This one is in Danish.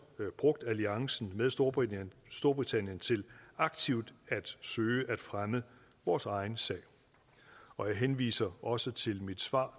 brugt alliancen med storbritannien storbritannien til aktivt at søge at fremme vores egen sag og jeg henviser også til mit svar